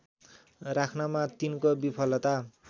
राख्नमा तिनको विफलता